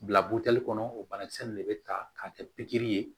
Bila buteli kɔnɔ o banakisɛ ninnu de bɛ ta k'a kɛ pikiri ye